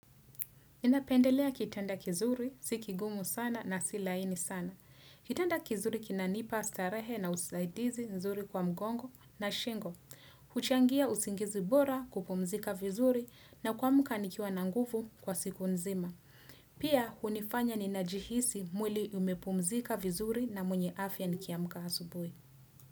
Ninapendelea kitanda kizuri, si kigumu sana na si laini sana. Kitanda kizuri kinanipa starehe na usaidizi nzuri kwa mgongo na shingo. Huchangia usingizi bora kupumzika vizuri na kuamka nikiwa na nguvu kwa siku nzima. Pia, hunifanya ninajihisi mwili umepumzika vizuri na mwenye afya nikiamka asubuhi.